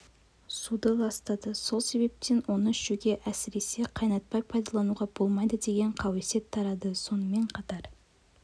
суды ластады сол себептен оны ішуге әсіресе қайнатпай пайдалануға болмайды деген қауесет тарады сонымен қатар